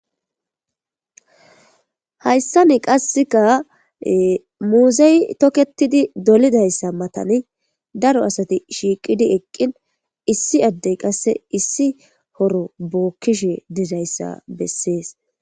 hayssani qasseka muzey toketidi dolidayssa matani daro asati shiiqidi eqqin issi addey qasse issi horo bookkishe dizayssa bessees